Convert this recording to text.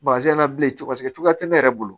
na bilen paseke cogoya te ne yɛrɛ bolo